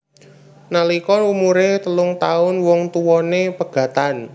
Nalika umuré telung taun wong tuwané pegatan